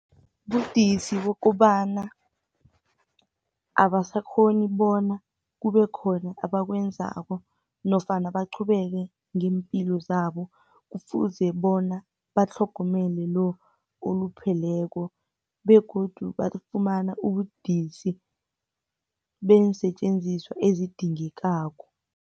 Budisi bokobana abasakghoni bona kube khona abakwenzako, nofana baqhubeke ngeempilo zabo, kufuze bona batlhogomele lo, olupheleko, begodu bafumana ubudisi, beensetjenziswa ezidingekako.